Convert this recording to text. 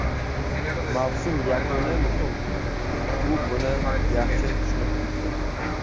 Mavsum yakuni muhim, u buni yaxshi tushunib turibdi.